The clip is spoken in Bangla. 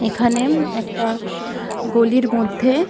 এখানে একটা গলির মধ্যে--